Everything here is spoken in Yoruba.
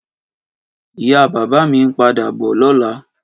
Ìyá bàbá mi ń padà bọ̀ lọ́la.